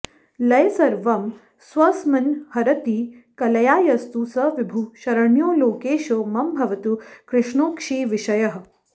लये सर्वं स्वस्मिन्हरति कलया यस्तु स विभुः शरण्यो लोकेशो मम भवतु कृष्णोऽक्षिविषयः